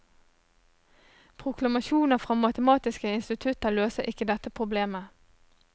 Proklamasjoner fra matematiske institutter løser ikke dette problemet.